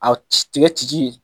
Aw ci tigɛ ci ci